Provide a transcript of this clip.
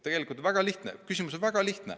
Tegelikult on küsimus väga lihtne.